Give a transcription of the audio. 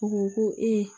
U ko ko